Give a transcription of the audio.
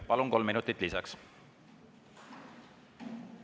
Palun, kolm minutit lisaks!